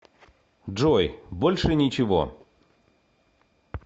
джой больше ничего